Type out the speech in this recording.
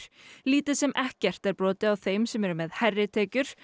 lítið sem ekkert er brotið á þeim sem eru með hærri tekjur